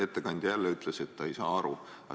Ettekandja jälle ütles, et ta ei saa aru.